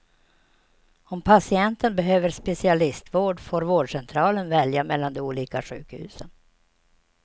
Om patienten behöver specialistvård får vårdcentralen välja mellan de olika sjukhusen.